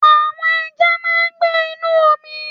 Àwon ẹja máa n gbé Inú omi